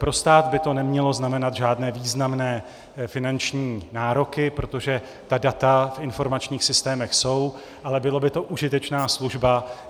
Pro stát by to nemělo znamenat žádné významné finanční nároky, protože ta data v informačních systémech jsou, ale byla by to užitečná služba.